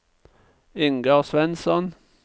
Ingar Svensson